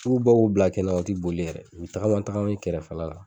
N'i y'u bɔ k'u bila kɛnɛ ma, u tɛ boli yɛrɛ , u bɛ tagama tagama i kɛrɛfɛla la.